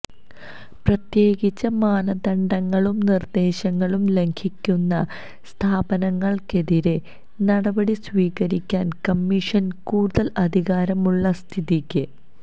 പ്രത്യേകിച്ച് മാനദണ്ഡങ്ങളും നിർദേശങ്ങളും ലംഘിക്കുന്ന സ്ഥാപനങ്ങൾക്കെതിരേ നടപടി സ്വീകരിക്കാൻ കമ്മിഷന് കൂടുതൽ അധികാരമുള്ള സ്ഥിതിക്ക്